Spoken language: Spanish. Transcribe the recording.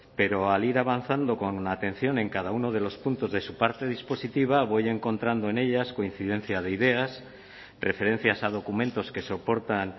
pero al ir avanzando con la atención en cada uno de los puntos de su parte dispositiva voy encontrando en ellas coincidencia de ideas referencias a documentos que soportan